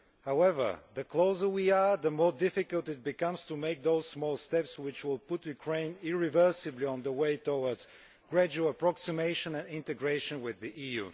However, the closer we are, the more difficult it becomes to make those small steps which will put Ukraine irreversibly on the way towards gradual proximation and integration with the EU.